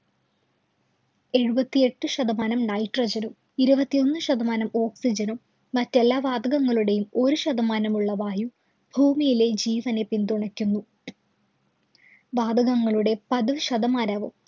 എഴുപത്തിയെട്ടു ശതമാനം nitrogen ഉം, ഇരുപത്തിയൊന്നു ശതമാനം oxygen ഉം, മറ്റു എല്ലാ വാതകങ്ങളുടെയും ഒരു ശതമാനം ഉള്ള വായുവും ഭൂമിയിലെ ജീവനെ പിന്തുണയ്ക്കുന്നു. വാതകങ്ങളുടെ പതിവ് ശതമാനവും